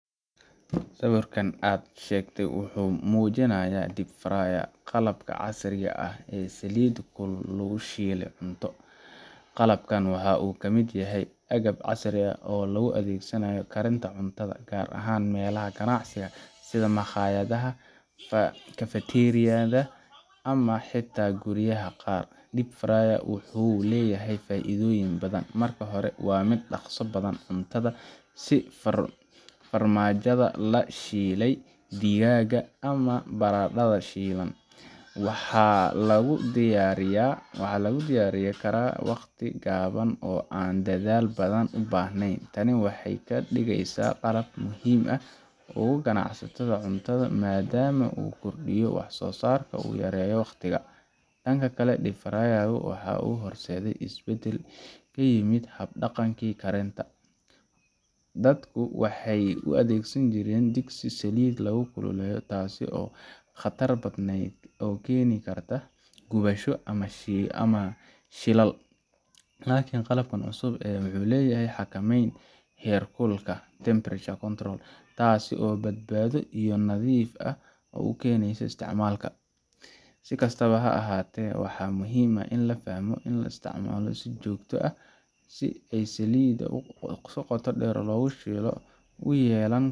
Sawirka aad sheegtay wuxuu muujinayaa deep fryer qalab casri ah oo saliid kulul ku shiilaya cunto. Qalabkan waxa uu ka mid yahay agabka casriga ah ee loo adeegsado karinta cuntada, gaar ahaan meelaha ganacsiga sida makhaayadaha, kafateeriyada ama xitaa guryaha qaar. deep fryer ku wuxuu leeyahay faa’iidooyin badan. Marka hore, waa mid dhaqso badan cuntada sida farmaajada la shiilay, digaagga, ama baradhada shiilan waxa lagu diyaarin karaa waqti gaaban oo aan dadaal badan u baahnayn. Tani waxay ka dhigeysaa qalab aad muhiim ugu ah ganacsatada cuntada, maadaama uu kordhiyo wax soosaarka oo uu yareeyo waqtiga. Dhanka kale, deep fryer ka waxa uu horseeday isbeddel ku yimid hab dhaqankii karinta. Hore, dadku waxay u adeegsanjireen digsi saliid lagu kululeeyo, taas oo khatar badnayd oo keeni karta gubasho ama shilal. Laakiin qalabkan cusub wuxuu leeyahay xakameyn heerkul ah temperature control, taasoo badbaado iyo nadiif ah u keenaysa isticmaalka. Si kastaba ha ahaatee, waxaa muhiim ah in la fahmo in isticmaalka joogtada ah ee saliidda qoto-dheer lagu shiilo uu yeelan